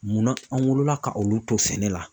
Munna an wolola ka olu to sɛnɛ la.